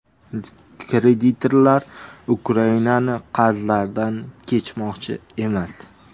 Kreditorlar Ukrainaning qarzlaridan kechmoqchi emas.